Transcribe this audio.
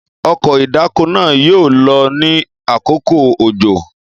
ọkọ̀ ìdáko naa yoo lo ni akoko ojo.